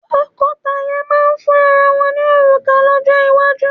Tọ́kọtaya máà ń fún ara wọ́n ní òrùka lọ́jọ́ ìgbéyàwó.